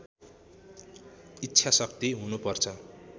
इच्छा शक्ति हुनुपर्छ